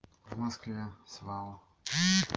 в москве в свао